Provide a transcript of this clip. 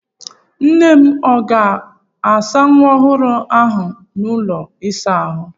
Nnem ọ ga-asa nwa ọhụrụ m a ahụ n'ụlọ ịsa ahụ?